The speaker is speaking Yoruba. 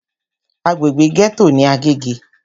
Agbègbè gẹ́tò ní Agége.